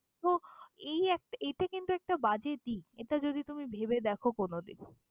তো এই এক~ এতে কিন্তু একটা বাজে দিক, এটা যদি তুমি ভেবে দ্যাখো কোনদিন।